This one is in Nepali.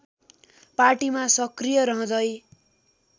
पार्टीमा सक्रिय रहँदै